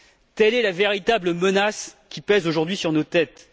Telle est la véritable menace qui pèse aujourd'hui sur nos têtes.